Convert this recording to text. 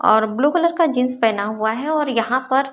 और blue colour का jeans पहना हुआ है और यहां पर--